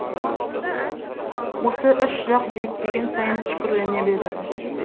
осы үш жақ биіктеген сайын үшкірлене береді